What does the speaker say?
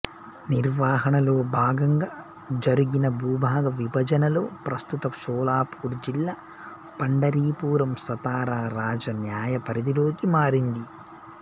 నిర్వహణలో భాగంగా జరుగిన భూభాగ విభజనలో ప్రస్తుత షోలాపూర్ జిల్లా పండరీపురం సతారా రాజా న్యాయపరిధిలోకి మారింది